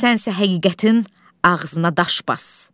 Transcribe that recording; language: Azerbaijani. Sənsə həqiqətin ağzına daş bas.